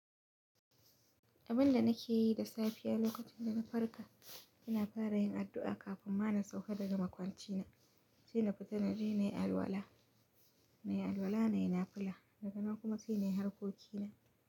Abunda nake yi da safiya lokacinda na farka ina fara yin adu'a kafin ma na sauka daga makwanci na sai na fita na je nayi alwala, nayi alwala nayi nafila.